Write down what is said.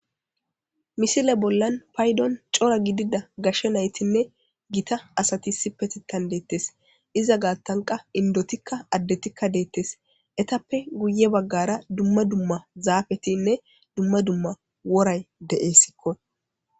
misile bollan paydon cora gidida gashshe naytinne gita asati sipe tittan deettes iza gaattanqa indotikka addetikka deettes etappe guye baggara dumma dumma zaafetinne dumma dumma woray deessikko